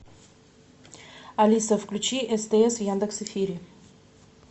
алиса включи стс в яндекс эфире